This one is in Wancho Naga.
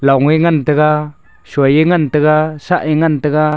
ngan taiga sonya ngan taiga sen ya ngan taiga.